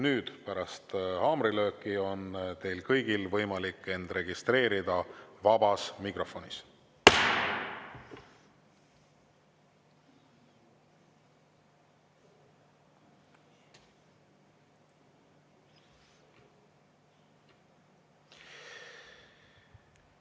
Nüüd, pärast haamrilööki on teil kõigil võimalik end registreerida vabas mikrofonis.